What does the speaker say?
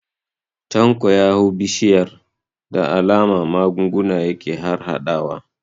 Tanko ya hau bishiyar, da alama magunguna yake harhaɗawa.